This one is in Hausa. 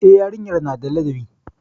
E, yarinyar na da ladabi.